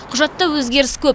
құжатта өзгеріс көп